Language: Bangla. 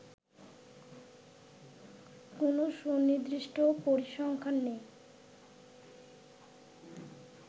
কোনও সুনির্দিষ্ট পরিসংখ্যান নেই